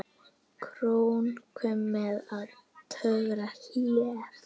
Króknum með ég torfi hleð.